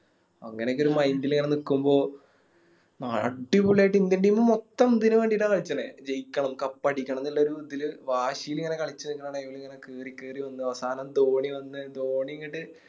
അങ്ങനൊക്കൊരു Mind ല് ഇങ്ങനെ നിക്കുമ്പോ ന അടിപൊളിയായിട്ട് Indian team മൊത്തം ഇതിന് വേണ്ടീട്ട കളിച്ചണെ ജയിക്കണം Cup അടിക്കണം ന്നുള്ളോർ ഇതില് വാശില് ഇങ്ങനെ കളിച്ച് വരുന്ന Time ഇങ്ങനെ കേറി കേറി വന്നു അവസാനം ധോണി വന്നു ധോണി ഇങ്ങട്ട്